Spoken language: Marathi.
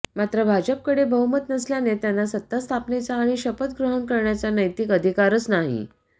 मात्र भाजपकडे बहुमत नसल्याने त्यांना सत्ता स्थापनेचा आणि शपथ ग्रहण करण्याचा नैतिक अधिकारच नाही